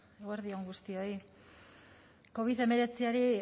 eguerdi on guztioi covid hemeretziari